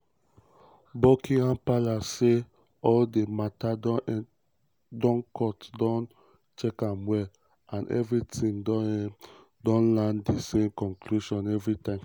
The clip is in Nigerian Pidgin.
buckingham palace say "all dis mata dem court don check am well and evritime dem don land di same conclusion evritime".